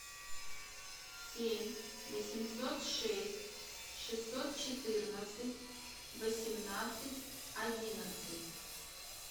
семь восемьсот шесть шестьсот четырнадцать восемнадцать одиннадцать